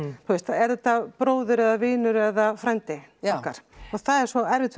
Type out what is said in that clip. er þetta bróðir eða vinur eða frændi okkar og það er svo erfitt